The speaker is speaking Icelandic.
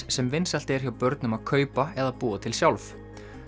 sem vinsælt er hjá börnum að kaupa eða búa til sjálf